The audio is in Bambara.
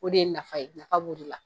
O de ye nafa ye, nafa b'o de la.